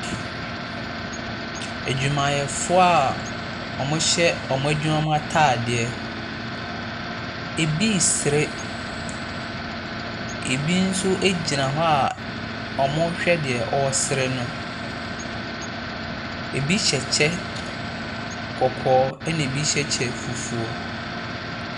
Adwumayɛfoɔ a wɔhyɛ adwuma mu ataadeɛ. Ebi resere. Ebi nso gyina hɔ a wɔrehwɛ deɛ ɔresere no. Ebi hyɛ kyɛ kɔkɔɔ, na ebi hyɛ kyɛ fufuo.